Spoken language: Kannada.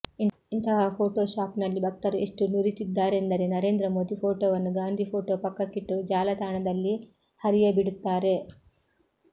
ಇಂತಹ ಫೋಟೊ ಶಾಪ್ನಲ್ಲಿ ಭಕ್ತರು ಎಷ್ಟು ನುರಿತಿದ್ದಾರೆಂದರೆ ನರೇಂದ್ರ ಮೋದಿ ಫೋಟೊವನ್ನು ಗಾಂಧಿ ಫೋಟೊ ಪಕ್ಕಕ್ಕಿಟ್ಟು ಜಾಲತಾಣದಲ್ಲಿ ಹರಿಯಬಿಡುತ್ತಾರೆ